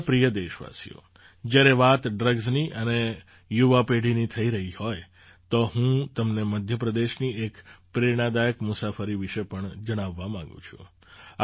મારા પ્રિય દેશવાસીઓ જ્યારે વાત ડ્રગ્સની અને યુવા પેઢીની થઈ રહી હોય તો હું તમને મધ્ય પ્રદેશની એક પ્રેરણાદાયક મુસાફરી વિશે પણ જણાવવા માગું છું